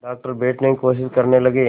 doctor बैठने की कोशिश करने लगे